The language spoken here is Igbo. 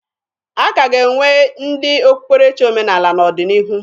A ka ga-enwe ndị okpukpere omenaala n'ọdịnihu